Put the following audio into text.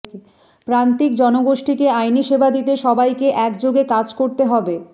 প্রান্তিক জনগোষ্ঠীকে আইনি সেবা দিতে সবাইকে একযোগে কাজ করতে হবে